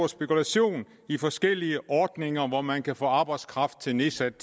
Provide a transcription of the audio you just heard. spekulation i forskellige ordninger hvor man kan få arbejdskraft til nedsat